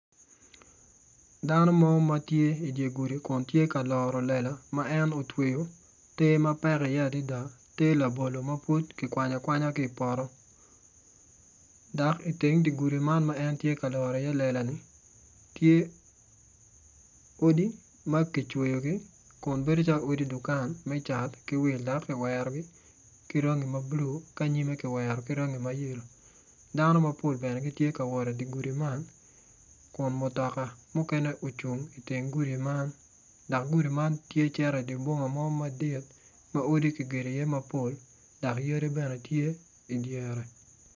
Dano mo matye i dyer gudi kun tye ka loro lela ma en otweo ter mapek i ye adada ter labolo mapud kikwanyo akwanya kipoto dok i teng di gudi man ma entye ka loro i ye lela ni tye odi makicweo gi kun bedo calo odi dukan me cat ki wil ento kiwerogi ki ryangi ma blue ki anyime ki wero ki rangi ma yellow dano mapol bene gitye ka wot i di gudi man kun mutoka mukene ocung i teng gudi man dok gudi man tye ciro i di boma mo madit ma odi kigero i ye mapol dok yadi bene tye i dyere.